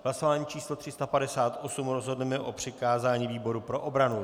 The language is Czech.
V hlasování číslo 358 rozhodneme o přikázání výboru pro obranu.